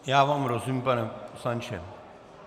Já vám rozumím, pane poslanče.